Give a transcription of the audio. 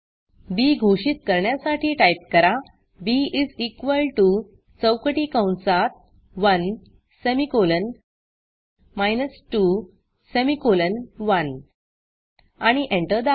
बी घोषित करण्यासाठी टाईप करा बी इस इक्वॉल टीओ चौकटी कंसात 1 सेमिकोलॉन 2 सेमिकोलॉन 1 आणि एंटर दाबा